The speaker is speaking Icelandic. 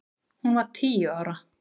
Hún var tíu ára.